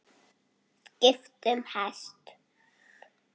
Skipt um hest.